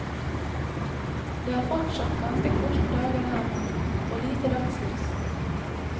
Det er fortsatt ganske korte dager her nord, og lite dagslys.